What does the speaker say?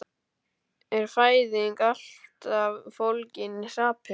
Er fæðing alltaf fólgin í hrapi?